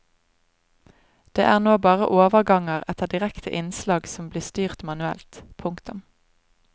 Det er nå bare overganger etter direkte innslag som blir styrt manuelt. punktum